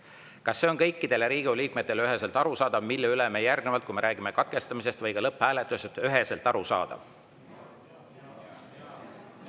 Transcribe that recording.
Kas see on kõikidele Riigikogu liikmetele üheselt arusaadav, mille üle me järgnevalt, kui me räägime katkestamisest või ka lõpphääletusest?